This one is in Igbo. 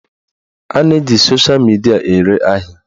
A na-eji sosha midia ere ahịa